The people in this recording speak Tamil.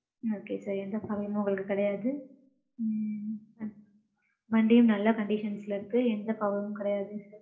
okay sir எந்த problem ம் உங்களுக்கு கிடையாது. ம்ம். வண்டியும் நல்ல conditions ல இருக்கு. எந்த problem ம் கிடையாது.